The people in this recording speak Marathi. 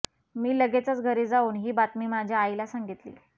मी लगेचच घरी जाऊन ही बातमी माझ्या आईला सांगितली